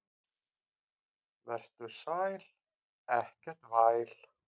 Vertu sæl, ekkert væl.